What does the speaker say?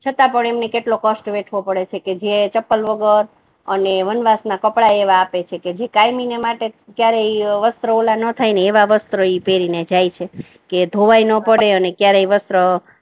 છતા પણ એમને કેટલો કષ્ટ વેઠવો પડે છે કે જે ચંપલ વગર અને વનવાસ ના કપડા એવા આપે છે કે જે કાયમી માટે ક્યારેય વસ્ત્ર એવા ના થાય ને એવા વસ્ત્રો પહેરીને જાય છે કે ધોવાએ ના પડે અને ક્યારેય વસ્ત્ર